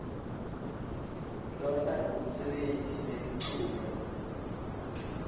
lona ngumsebeni nemculo